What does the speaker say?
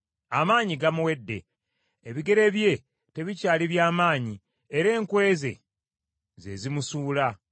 Amaanyi gamuwedde, ebigere bye tebikyali bya maanyi, era enkwe ze, ze zimusuula.